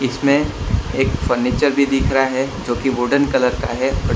इसमें एक फर्नीचर भी दिख रहा है जो कि वुडन कलर का है।